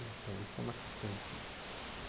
Então, isso é uma questão difícil.